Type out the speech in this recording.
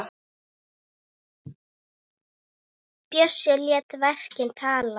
Bjössi lét verkin tala.